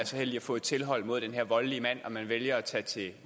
heldig at få et tilhold mod den her voldelige mand og man vælger at tage til